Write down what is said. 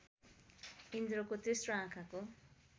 इन्द्रको तेस्रो आँखाको